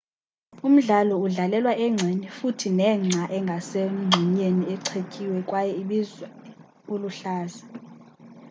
umdlalo udlalelwa engceni futhi nengca engase mgxunyeni ichetyiwe kwaye ibizwa uluhlaza